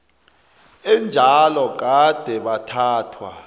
enjalo gade bathathwa